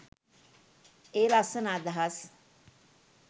ඒ ලස්සන අදහස්